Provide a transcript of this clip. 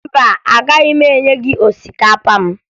Mba, agaghị m enye gị osikapa m